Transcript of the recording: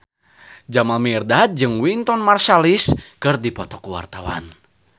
Jamal Mirdad jeung Wynton Marsalis keur dipoto ku wartawan